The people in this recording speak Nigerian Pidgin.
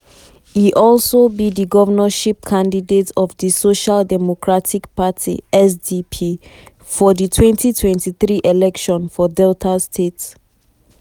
e also be di governorship candidate of di social democratic party (sdp) for di 2023 election for delta state.